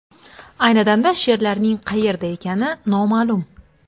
Ayni damda sherlarning qayerda ekani noma’lum.